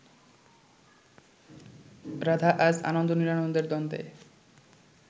রাধা আজ আনন্দ নিরানন্দের দ্বন্দ্বে